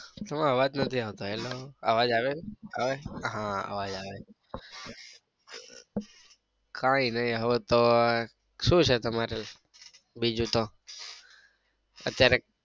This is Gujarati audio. તમારો અવાજ નથી આવતો. હેલો અવાજ આવે છે? આવે છે? હા અવાજ આવે છે. કાંઈ નઈ હવે તો શું છે તમારે બીજું તો?